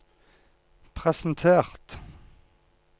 presentert